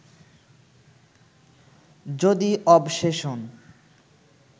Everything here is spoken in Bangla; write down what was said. যদি অবসেশন